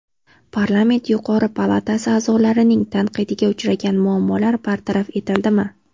Parlament yuqori palatasi a’zolarining tanqidiga uchragan muammolar bartaraf etildimi?